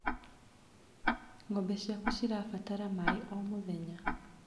Ngombe ciaku cirabatara maĩ o mũthenya.